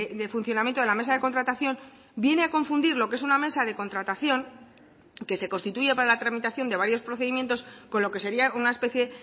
de funcionamiento de la mesa de contratación viene a confundir lo que es una mesa de contratación que se constituye para la tramitación de varios procedimientos con lo que sería una especie